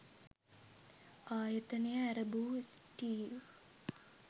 ආයතනය ඇරඹූ ස්ටීව්